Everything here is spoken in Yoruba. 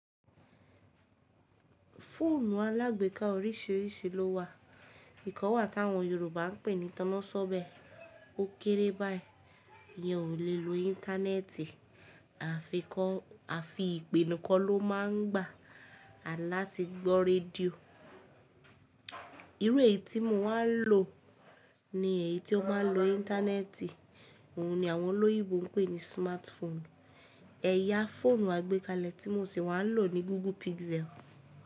Fóònù alágbèká orísìírísìí ló wà, ìkan wà tí àwọn Yorùbá ń pè ní tan'násọ́bẹ̀, ó kéré báyìí, ìyẹn ò lè lo íńtánẹ́ẹ̀tì, àfikọ́ àfi ìpè nìkan ló máa ń gbà, à láti gbọ́ rédíò. Irú èyí tí mo wá ń lò ní èyí tí ó máa ń lo íńtánẹ́ẹ̀tì, òun ni àwọn olóyìnbó ń pè ní smartphone. Ẹ̀yà fóònù àgbékalẹ̀ tí mo sì wá ń lò ni Google Pixel.